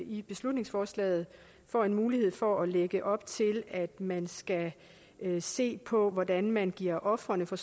i beslutningsforslaget får en mulighed for at lægge op til at man skal se på hvordan man giver ofrene for